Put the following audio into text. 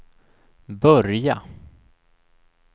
börja